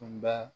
Tunba